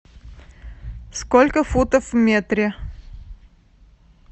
сколько футов в метре